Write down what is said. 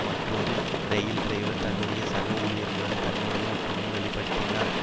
மற்றொரு இரயில் டிரைவர் தன்னுடைய சக ஊழியர்களுடன் தன்னுடைய ஒற்றுமையை வெளி படுத்தினார்